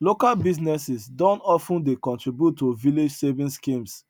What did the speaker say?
local businesses don of ten dey contribute to village saving schemes